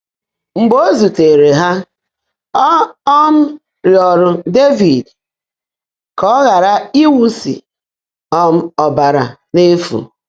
Mgbe ó zùtèèré há, ọ́ um rịọ́ọ́rụ́ Dévid kà ọ́ ghàrà íwụ́sị́ um ọ́bàrà n’éfú.